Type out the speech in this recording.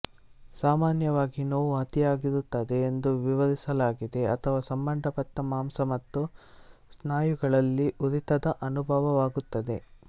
ಸಾಮಾನ್ಯವಾಗಿ ನೋವು ಅತಿಯಾಗಿರುತ್ತದೆ ಎಂದು ವಿವರಿಸಲಾಗಿದೆ ಅಥವಾ ಸಂಬಂಧಪಟ್ಟ ಮಾಂಸ ಮತ್ತು ಸ್ನಾಯುಗಳಲ್ಲಿ ಉರಿತದ ಅನುಭವವಾಗುತ್ತದೆ